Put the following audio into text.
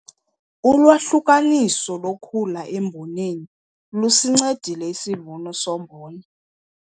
Ulwahlukaniso lokhula emboneni lusincedile isivuno sombona.